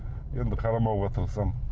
енді қарамауға тырысамын